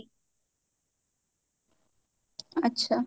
ଆଛା